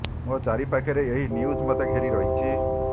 ମୋ ଚାରି ପାଖରେ ଏହି ନ୍ୟୁଜ୍ ମତେ ଘେରି ରହିଛି